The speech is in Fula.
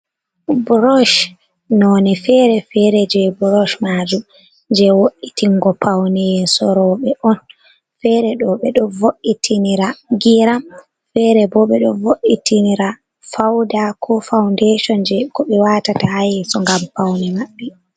brosh noni fere-fere je brosh maju je wo’itingo pauneye sorobe on fere do be do vo’itinira giram fere bo be do vo’itinira fauda ko faundeton je ko be watata hayeso ngam pauni mabbe